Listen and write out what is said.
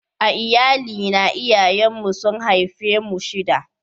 A Iyalli na, iyayen mu su'n haife mu shida.